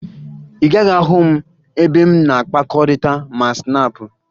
Ị gaghị ahụ m ebe m na-akpakọrịta ma Snaapụ